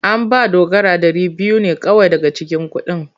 An ba Dogara dari biyu ne kawai daga cikin kudin.